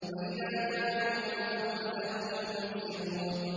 وَإِذَا كَالُوهُمْ أَو وَّزَنُوهُمْ يُخْسِرُونَ